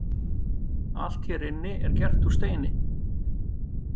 Allt hér inni er gert úr steini.